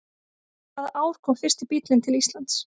Hvaða ár kom fyrsti bíllinn til Íslands?